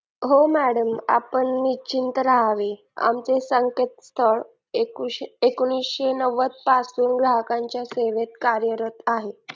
हो madam आपण निश्चित राहावे आमचे संकेत सर एकोणीशेनव्वद पासून ग्राहकांच्या सेवेत कार्यरत आहे